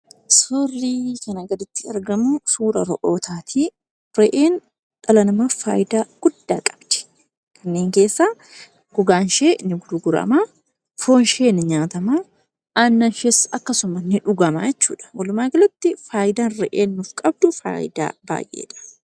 Suurri kana gaditti argamu suura Re'ootaa ti. Reheenis dhala namaaf faayidaa guddaa qabdi. Kanneen keessaa gogaan ishee ni gurgurama, foon ishee ni nyaatama, aannan ishees akkasuma ni dhugama jechuudha. Walumaa galatti faayidaa Re'een qabdu baay'eedha.